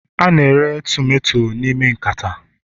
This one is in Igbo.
a na-ere tomato n'ime nkata